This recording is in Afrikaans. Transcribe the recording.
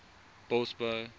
bosbou